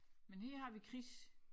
Men her har vi Chris